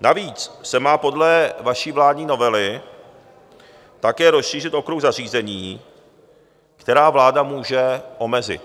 Navíc se má podle vaší vládní novely také rozšířit okruh zařízení, která vláda může omezit.